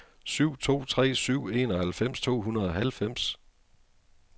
syv to tre syv enoghalvfems to hundrede og halvfems